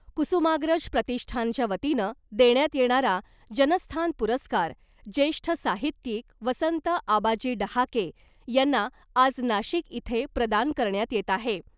कुसुमाग्रज प्रतिष्ठानच्या वतीनं देण्यात येणारा , जनस्थान पुरस्कार , ज्येष्ठ साहित्यिक वसंत आबाजी डहाके यांना आज नाशिक इथे प्रदान करण्यात येत आहे .